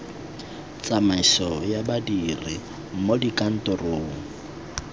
tsamaiso ya badiri mo dikantorong